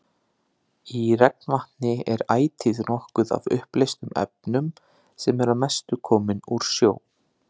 Í regnvatni er ætíð nokkuð af uppleystum efnum sem eru að mestu komin úr sjó.